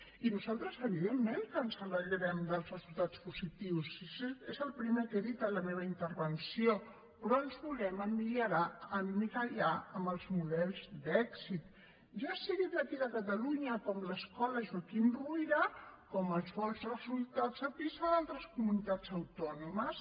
i nosaltres evidentment que ens alegrem dels resultats positius si és el primer que he dit en la meva intervenció però ens volem emmirallar en els models d’èxit ja siguin d’aquí de catalunya com l’escola joaquim ruyra com els bons resultats a pisa d’altres comunitats autònomes